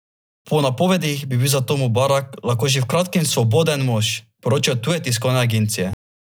Po napovedih bi bil zato Mubarak lahko že v kratkem svoboden mož, poročajo tuje tiskovne agencije.